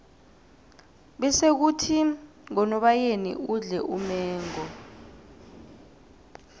bese khuthi ngonobayeni udle umengo